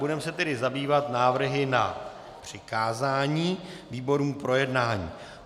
Budeme se tedy zabývat návrhy na přikázání výborům k projednání.